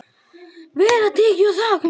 Vel var tekið í það.